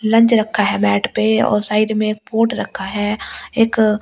Lunch रखा है bed पे और साइड पे पॉट रखा है एक अ स्टैंड ।